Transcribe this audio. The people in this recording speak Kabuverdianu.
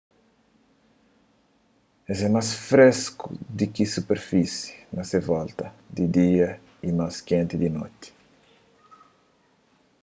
es é más fresku di ki superfisi na se volta di dia y más kenti di noti